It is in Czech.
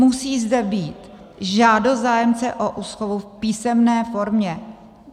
Musí zde být žádost zájemce o úschovu v písemné formě.